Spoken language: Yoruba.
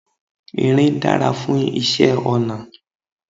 Irin dára fún iṣẹ́ ọnà.